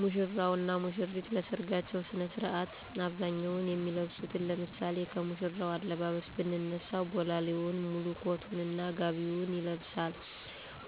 ሙሽራው እና ሙሽሪት ለሰርጋቸው ስነ ስርዓት በአብዛኛው የሚለብሱት ለምሳሌ ከሙሽራው አለባበስ ብንነሳ ቦላሌውን፣ ሙሉ ኮቱን እና ጋቢውን ይለብሳል፤